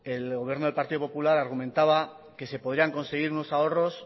el gobierno del partido popular argumentaba que se podrían conseguir unos ahorros